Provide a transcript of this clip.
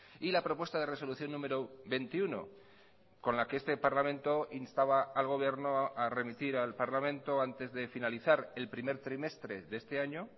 y la propuesta de resolución número veintiuno con la que este parlamento instaba al gobierno a remitir al parlamento antes de finalizar el primer trimestre de este año